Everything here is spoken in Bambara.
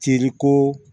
Teriko